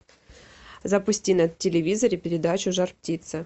запусти на телевизоре передачу жар птица